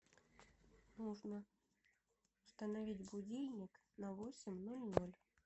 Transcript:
нужно установить будильник на восемь ноль ноль